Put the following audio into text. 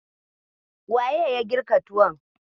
Waye ya girka tuwon?